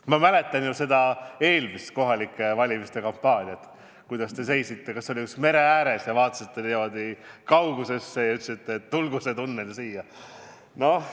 Ma mäletan eelmist kohalike omavalitsuste valimise kampaaniat, seda, kuidas te seisite – olite vist mere ääres – ja vaatasite kaugusesse ja ütlesite, et tulgu see tunnel siia.